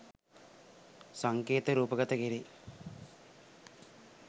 සංකේත රූපගත කෙරේ